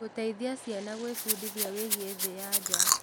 Gũteithagia ciana gwĩbundithia wĩgiĩ thĩ ya nja.